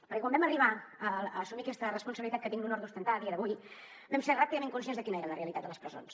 perquè quan vam arribar a assumir aquesta responsabilitat que tinc l’honor d’ostentar a dia d’avui vam ser ràpidament conscients de quina era la realitat de les presons